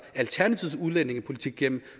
alternativets udlændingepolitik igennem